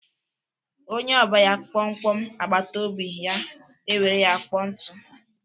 Onye ọba ya mkpọmkpọ agbataobi ya ewere ya kpoo ntụ.